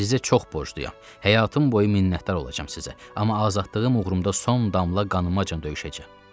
Sizə çox borcluyam, həyatım boyu minnətdar olacağım sizə, amma azadlığım uğrunda son damla qanımacan döyüşəcəyəm.